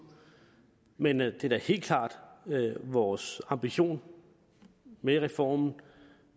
men det er da helt klart vores ambition med reformen